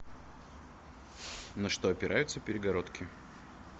на что опираются перегородки